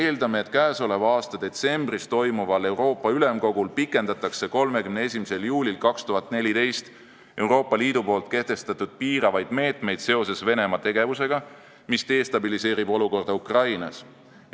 Me eeldame, et käesoleva aasta detsembris toimuval Euroopa Ülemkogul pikendatakse 31. juulil 2014 Euroopa Liidu kehtestatud piiravaid meetmeid seoses Venemaa tegevusega, mis destabiliseerib olukorda Ukrainas.